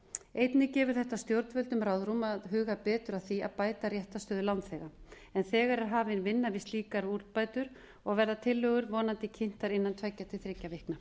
einnig gefi þetta stjórnvöldum ráðrúm að huga betur að því að bæta réttarstöðu lánþega en þegar er hafin vinna við slíkar úrbætur og verða tillögur vonandi kynntar innan tveggja til þriggja vikna